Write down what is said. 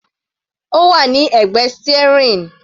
Ó wà ní ẹ̀gbẹ́ steering.